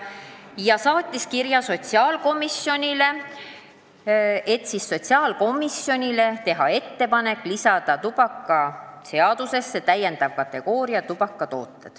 Nad saatsid kirja sotsiaalkomisjonile, tehes ettepaneku lisada tubakaseadusesse täiendav tubakatoodete kategooria.